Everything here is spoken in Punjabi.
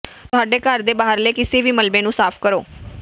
ਤੁਹਾਡੇ ਘਰ ਦੇ ਬਾਹਰਲੇ ਕਿਸੇ ਵੀ ਮਲਬੇ ਨੂੰ ਸਾਫ਼ ਕਰੋ